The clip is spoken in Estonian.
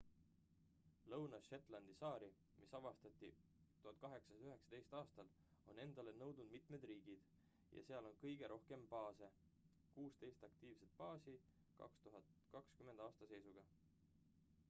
lõuna-shetlandi saari mis avastati 1819 aastal on endale nõudnud mitmed riigid ja seal on kõige rohkem baase - 16 aktiivset baasi 2020 aasta seisuga